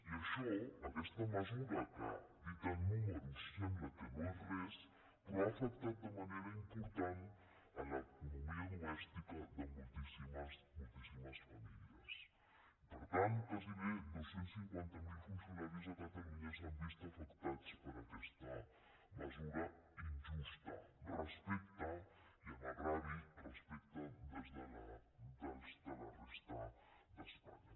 i això aquesta mesura que dita amb números sembla que no és res però ha afectat de manera important l’economia domèstica de moltíssi·mes famílies i per tant quasi dos cents i cinquanta miler funcionaris a catalunya s’han vist afectats per aquesta mesura in·justa i amb greuge respecte a la resta d’espanya